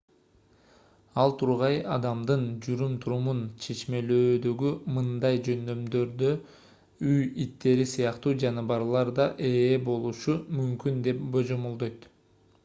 ал тургай адамдын жүрүм-турумун чечмелөөдөгү мындай жөндөмдөргө үй иттери сыяктуу жаныбарлар да ээ болушу мүмкүн деп божомолдойт